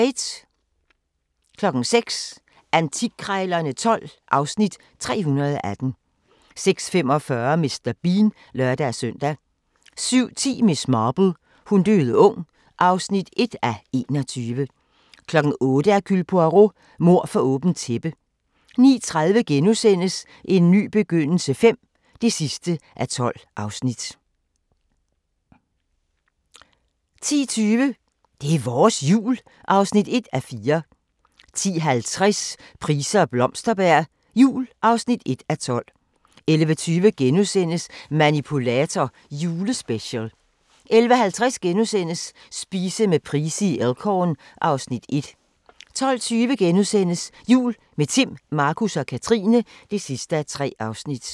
06:00: Antikkrejlerne XII (Afs. 318) 06:45: Mr. Bean (lør-søn) 07:10: Miss Marple : Hun døde ung (1:21) 08:00: Hercule Poirot: Mord for åbent tæppe 09:30: En ny begyndelse V (12:12)* 10:20: Det er vores Jul (1:4) 10:50: Price og Blomsterberg jul (1:12) 11:20: Manipulator – Julespecial * 11:50: Spise med Price i Elk Horn (Afs. 1)* 12:20: Jul – med Timm, Markus og Katrine (3:3)*